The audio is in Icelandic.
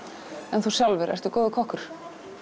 en þú sjálfur ertu góður kokkur